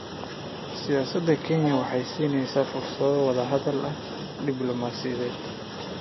Siyaasada Kenya waxa ay siinaysaa fursado wada hadal diblumaasiyadeed.